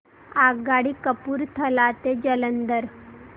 आगगाडी कपूरथला ते जालंधर